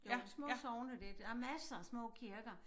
Det var de små sogne der der masser af små kirker